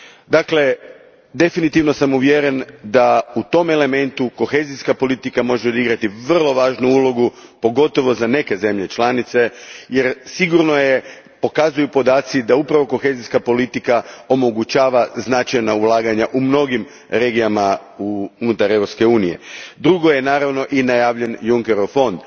Dakle, definitivno sam uvjeren da u tom elementu kohezijska politika može odigrati vrlo važnu ulogu, pogotovo za neke zemlje članice, jer sigurno je pokazuju podaci da kohezijska politika omogućava značajna ulaganja u mnogim regijama unutar EU a. Drugo je, naravno, i najavljen Junckerov fond.